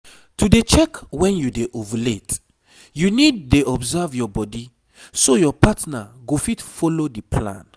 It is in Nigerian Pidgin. to dey check when you dey ovulate you need dey observe your body so your partner go fit follow the plan